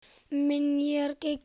Um minjar gegnir öðru máli.